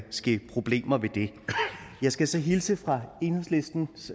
problemer med det jeg skal så hilse fra enhedslistens